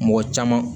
Mɔgɔ caman